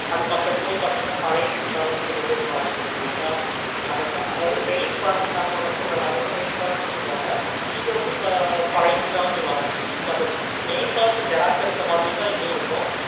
அது பக்கத்துலயே பார்த்தீங்கன்னா கோடலாம் சொல்லிட்டு ஒரு falls இருக்கு அதாவது main falls சொல்றேளா அத main falls சொல்றாங்க இது வந்து பழைய கோடலாம் சொல்லுவாங்க so அந்த main falls xerox எடுத்த மாதிரி தான் இதுவும் இருக்கும்.